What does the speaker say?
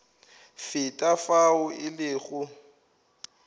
feta ka fao e lego